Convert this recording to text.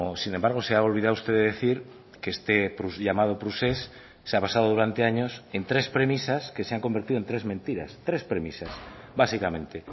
sin embargo se ha olvidado usted de decir que este llamado procés se ha basado durante años en tres premisas que se han convertido en tres mentiras tres premisas básicamente